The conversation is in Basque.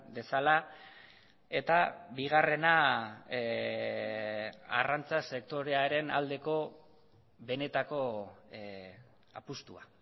dezala eta bigarrena arrantza sektorearen aldeko benetako apustua